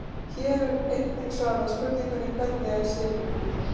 Hér er einnig svarað spurningunni: Hvernig er sykur búinn til?